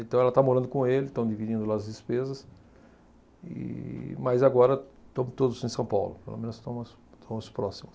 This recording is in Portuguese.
Então ela está morando com ele, estão dividindo lá as despesas, e mas agora estamos todos em São Paulo, pelo menos estamos, estamos próximos.